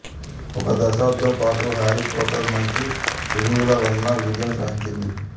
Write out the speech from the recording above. ఒక దశాబ్దమ పాటు హ్యారీ పాటర్ మంచి రివ్యూల వలన విజయము సాధించింది